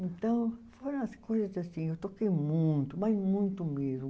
Então, foram as coisas assim, eu toquei muito, mas muito mesmo.